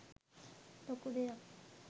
ලොකු දෙයක්.